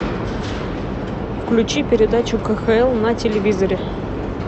включи передачу кхл на телевизоре